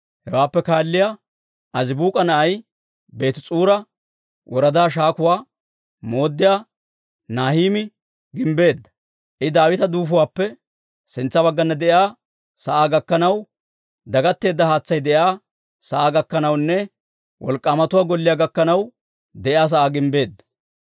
Hewaappe kaalliyaawaa Azibuuk'a na'ay, Beetis'uura woradaa shaakuwaa mooddiyaa Nahimii gimbbeedda; I Daawita duufuwaappe sintsa baggana de'iyaa sa'aa gakkanaw, dagatteedda haatsay de'iyaa sa'aa gakkanawunne wolk'k'aamatuwaa golliyaa gakkanaw de'iyaa sa'aa gimbbeedda.